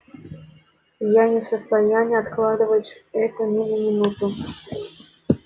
я не в состоянии откладывать это ни на минуту